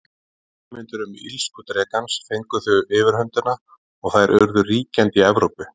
Hugmyndir um illsku drekans fengu þó yfirhöndina og þær urðu ríkjandi í Evrópu.